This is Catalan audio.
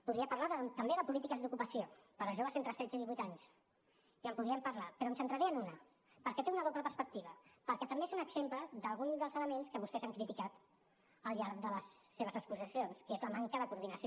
podria parlar també de polítiques d’ocupació per a joves entre setze i divuit anys i en podríem parlar però em centraré en una perquè té una doble perspectiva perquè també és un exemple d’algun dels elements que vostès han criticat al llarg de les seves exposicions que és la manca de coordinació